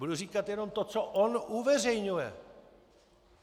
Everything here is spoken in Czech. Budu říkat jenom to, co on uveřejňuje.